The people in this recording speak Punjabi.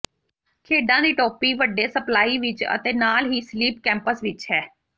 ਖੇਡਾਂ ਦੀ ਟੋਪੀ ਵੱਡੇ ਸਪਲਾਈ ਵਿਚ ਅਤੇ ਨਾਲ ਹੀ ਸਲੀਪ ਕੈਪਸ ਵਿਚ ਹੈ